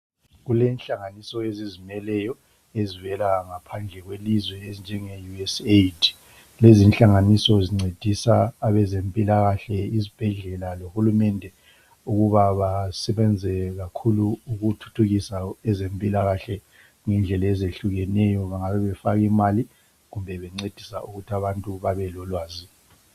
Kulenhlanganiso ezizimeleyo ezivela ngaphandle kwelizwe ezinjengeUSAID. Lezi inhlanganiso zincedisa abezempilakahle izibhedlela lohulumende ukuba basebenze kakhulu ukuthuthukisa ezempilakahle ngendlela ezehlukeneyo bengabe befaka imali kumbe bencedisa ukuthi abantu bebe lolwazi.